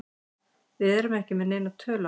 Við erum ekki með neina tölu á þessu.